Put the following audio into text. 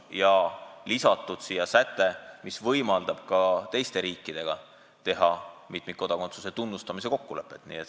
Ja siia sai ju lisatud säte, mis võimaldab ka teiste riikidega sõlmida mitmikkodakondsuse tunnustamise kokkulepet.